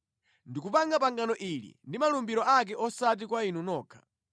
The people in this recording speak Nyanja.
Ndikupanga pangano ili ndi malumbiro ake osati kwa inu nokha,